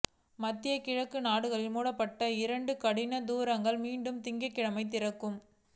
மத்திய கிழக்கு நாடுகளில் மூடப்பட்ட இரண்டு கனடிய தூதரங்கள் மீண்டும் திங்கட்கிழமை திறக்கும்